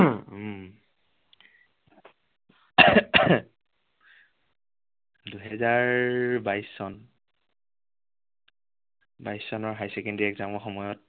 দুহেজাৰ বাইশ চন বাইশ চনৰ higher secondary exam ৰ সময়ত